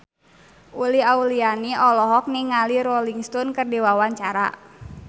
Uli Auliani olohok ningali Rolling Stone keur diwawancara